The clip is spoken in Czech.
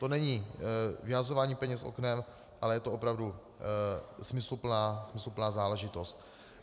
To není vyhazování peněz oknem, ale je to opravdu smysluplná záležitost.